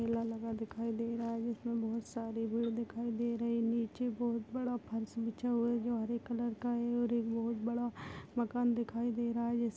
मेला लगा दिखाई दे रहा है जिसमे बहुत सारे हुए दिखाई दे रहे है नीचे बहुत बड़ा फर्श बिछा हुआ है जो हरे कलर का है और एक बहुत बड़ा मकान दिखाई दे रहा हैजैसे --